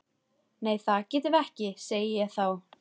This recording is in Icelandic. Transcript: Nei það getum við ekki, segi ég þá.